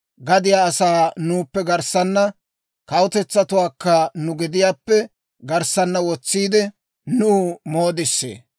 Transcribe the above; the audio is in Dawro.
Gadiyaa asaa nuuppe garssaana, kawutetsatuwaakka nu gediyaappe garssaana wotsiide, Nuw moodissee.